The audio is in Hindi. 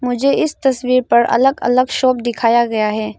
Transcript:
मुझे इस तस्वीर पर अलग अलग शॉप दिखाया गया है।